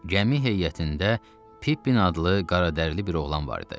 Gəmi heyətində Pippin adlı qaradərli bir oğlan var idi.